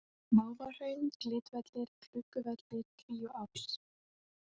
Mávahraun, Glitvellir, Klukkuvellir, Kríuás